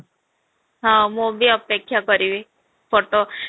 ହଁ, ମୁଁ ବି ଅପେକ୍ଷା କରିବି photo